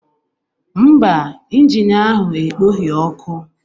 Mba, injin ahụ ekpoghị ọkụ